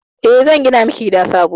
E, zan gina miki gida sabo.